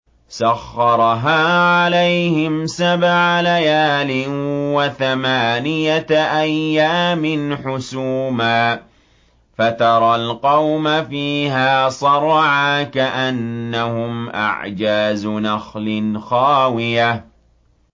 سَخَّرَهَا عَلَيْهِمْ سَبْعَ لَيَالٍ وَثَمَانِيَةَ أَيَّامٍ حُسُومًا فَتَرَى الْقَوْمَ فِيهَا صَرْعَىٰ كَأَنَّهُمْ أَعْجَازُ نَخْلٍ خَاوِيَةٍ